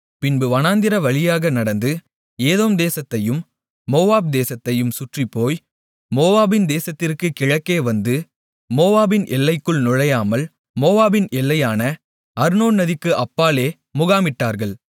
பின்பு வனாந்திரவழியாக நடந்து ஏதோம் தேசத்தையும் மோவாப் தேசத்தையும் சுற்றிப்போய் மோவாபின் தேசத்திற்குக் கிழக்கேவந்து மோவாபின் எல்லைக்குள் நுழையாமல் மோவாபின் எல்லையான அர்னோன் நதிக்கு அப்பாலே முகாமிட்டார்கள்